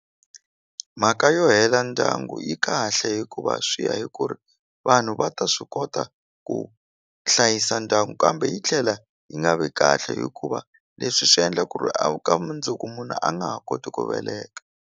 Mhaka yo hela ndyangu yi kahle hikuva swi ya hi ku ri vanhu va ta swi kota ku hlayisa ndyangu kambe yi tlhela yi nga vi kahle hikuva leswi swi endla ku ri a ka mundzuku munhu a nga ha koti ku veleka.